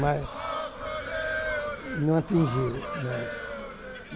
Mas não atingiu nós.